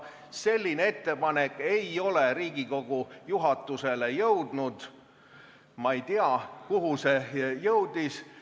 Selline ettepanek ei ole Riigikogu juhatusse jõudnud – ma ei tea, kuhu see jõudis.